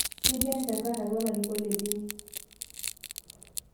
Ketii enchankarr atua larikok ledini